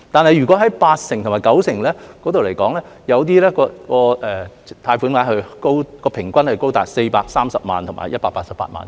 但是，就八成和九成信貸擔保而言，平均貸款額高達430萬元和188萬元。